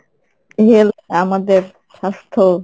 health আমাদের স্বাস্থ্য